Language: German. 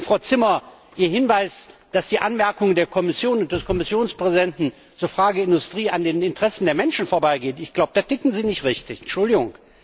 Frau Zimmer, zu Ihrem Hinweis, dass die Anmerkungen der Kommission und des Kommissionspräsidenten zur Frage der Industrie an den Interessen der Menschen vorbeigeht ich glaube, da ticken Sie nicht richtig, Entschuldigung!